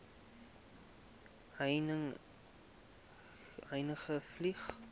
heuningvlei